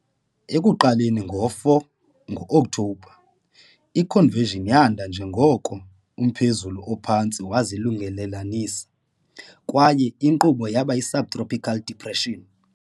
Ekuqaleni ngo-4 Ngo-Okthobha, i-convection yanda njengoko umphezulu ophantsi wazilungelelanisa, kwaye inkqubo yaba yi-subtropical depression.